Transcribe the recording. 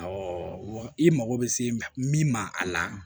wa i mago bɛ se min ma a la